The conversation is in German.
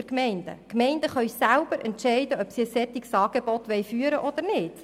Die Gemeinden können selber entscheiden, ob sie ein solches Angebot führen wollen oder nicht.